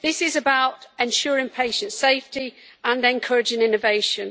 This is about ensuring patients' safety and encouraging innovation.